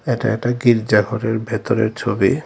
এটা একটা গির্জা ঘরের ভেতরের ছবি।